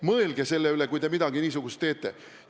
Mõelge selle üle, kui te midagi niisugust teete!